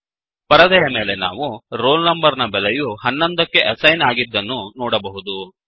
ಪರದೆಯ ಮೇಲೆ ನಾವು ರೋಲ್ ನಂಬರ್ ನ ಬೆಲೆ 11 ಕ್ಕೆ ಅಸೈನ್ ಆಗಿದ್ದನ್ನು ನೋಡಬಹುದು